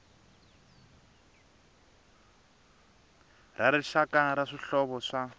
ra rixaka ra swihlovo swa